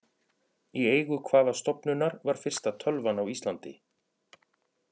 Í eigu hvaða stofnunar var fyrsta tölvan á Íslandi?